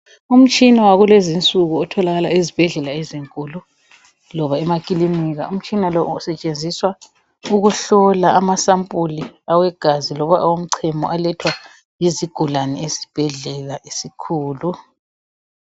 Umtshina wakulezi insuku otholakala ezibhedlela ezinkulu loba emakilinika. Umtshina lo usetshenziswa ukuhlola amasampuli awegazi loba awomchemo alethwa yizigulane esibhedlela esikhulu.